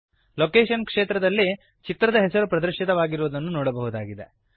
location ಕ್ಷೇತ್ರದಲ್ಲಿ ಚಿತ್ರದ ಹೆಸರು ಪ್ರದರ್ಶಿತವಾಗಿರುವುದನ್ನು ನೋಡಬಹುದಾಗಿದೆ